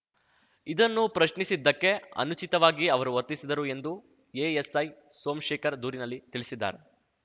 ಇದನ್ನು ಪ್ರಶ್ನಿಸಿದಕ್ಕೆ ಅನುಚಿತವಾಗಿ ಅವರು ವರ್ತಿಸಿದರು ಎಂದು ಎಎಸ್‌ಐ ಸೋಮಶೇಖರ್‌ ದೂರಿನಲ್ಲಿ ತಿಳಿಸಿದ್ದಾರೆ